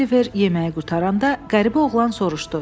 Oliver yeməyi qurtaranda qəribə oğlan soruşdu: